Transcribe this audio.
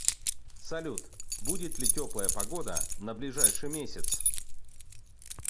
салют будет ли теплая погода на ближайший месяц